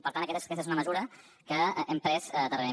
per tant també aquesta és una mesura que hem pres darrerament